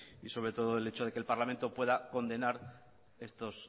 y sobre todo el hecho de que el parlamento pueda condenar estos